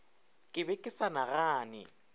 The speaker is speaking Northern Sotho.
ke be ke sa nagane